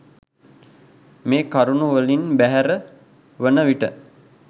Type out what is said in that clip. මේ කරුණු වලින් බැහැර වන විට